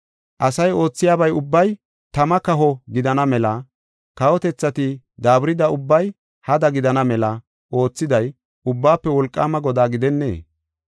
Asay oothiyaba ubbay tama kaho gidana mela, kawotethati daaburida ubbay hada gidana mela oothiday Ubbaafe Wolqaama Godaa gidennee?